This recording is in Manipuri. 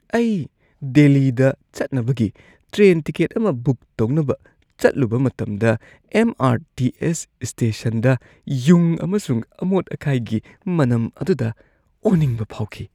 ꯑꯩ ꯗꯦꯜꯂꯤꯗ ꯆꯠꯅꯕꯒꯤ ꯇ꯭ꯔꯦꯟ ꯇꯤꯀꯦꯠ ꯑꯃ ꯕꯨꯛ ꯇꯧꯅꯕ ꯆꯠꯂꯨꯕ ꯃꯇꯝꯗ ꯑꯦꯝ. ꯑꯥꯔ. ꯇꯤ. ꯑꯦꯁ. ꯁ꯭ꯇꯦꯁꯟꯗ ꯌꯨꯡ ꯑꯃꯁꯨꯡ ꯑꯃꯣꯠ-ꯑꯀꯥꯏꯒꯤ ꯃꯅꯝ ꯑꯗꯨꯗ ꯑꯣꯅꯤꯡꯕ ꯐꯥꯎꯈꯤ꯫